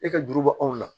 E ka juru bɔ anw na